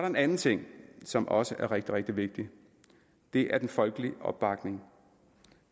en anden ting som også er rigtig rigtig vigtig det er den folkelige opbakning